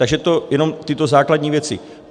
Takže to jenom tyto základní věci.